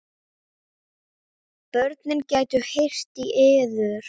Börnin gætu heyrt í yður.